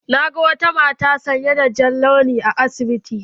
Na ga wata mata sanye da jan launi a asibiti.